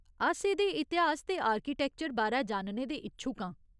अस एह्दे इतिहास ते आर्किटैक्चर बारै जानने दे इच्छुक आं।